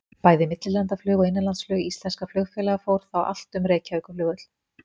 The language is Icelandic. Bæði millilandaflug og innanlandsflug íslenskra flugfélaga fór þá allt um Reykjavíkurflugvöll.